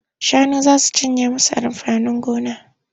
Shanu za su cinye musu amfanin gona.